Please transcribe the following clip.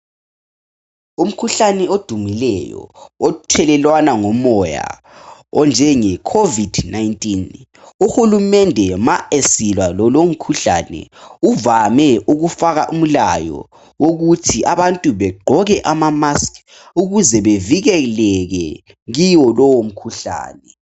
Umkhuhlane odumileyo othelelwana ngomoya onjenge Covid-19. Uhulumende ma esilwa lalowu mkhuhlane uvame ukufaka umlayo wokuthi abantu begqoke ama"mask " ukuze bevikeleke kiwo lowo mkhuhlane.